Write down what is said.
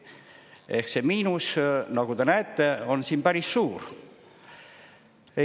Ehk see miinus, nagu te näete, on siin päris suur.